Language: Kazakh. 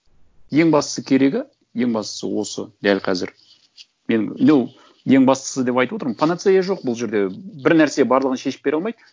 ең бастысы керегі ең бастысы осы дәл қазір мен ну ең бастысы деп айтып отырмын панацея жоқ бұл жерде бір нәрсе барлығын шешіп бере алмайды